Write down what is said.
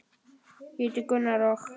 Ég heiti Gunnar og.